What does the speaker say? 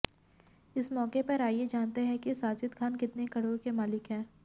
इस मौके पर आइये जानते है कि साजिद खान कितने करोड़ के मालिक है